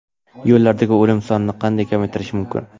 Yo‘llardagi o‘lim sonini qanday kamaytirish mumkin?.